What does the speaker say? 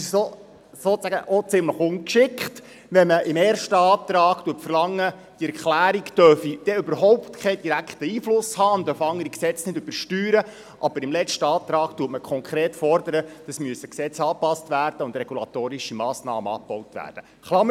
Es ist auch ziemlich ungeschickt, wenn man im ersten Antrag verlangt, dass diese Erklärung überhaupt keinen direkten Einfluss haben und keine Gesetze übersteuern dürfe, aber man im letzten Antrag konkret fordert, dass Gesetze angepasst werden und regulatorische Massnahmen abgebaut werden müssten.